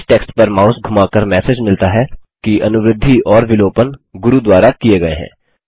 इस टेक्स्ट पर माउस धुमाकर मैसेज मिलता है कि अनुवृद्धि और विलोपन गुरू द्वारा किये गये हैं